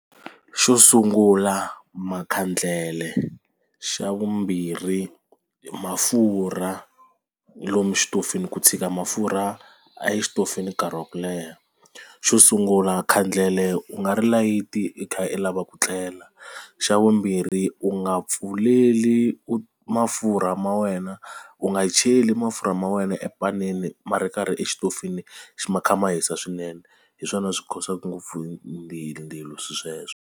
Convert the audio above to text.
Xo sungula makhandlele xa vumbirhi mafurha lomu xitofini ku tshika mafurha exitofi ni nkarhi wa ku leha xo sungula khandlele u nga ri layita i kha i lava ku tlela xa vumbirhi u nga pfuleli u mafurha ma wena u nga cheli mafurha ma wena epanini ma ri karhi exitofini xi ma kha ma hisa swinene hi swona swi cause-aka ngopfu ndzilo swilo sweswo.